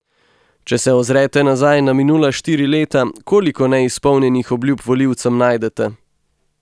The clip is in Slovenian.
Če se ozrete nazaj na minula štiri leta, koliko neizpolnjenih obljub volivcem najdete?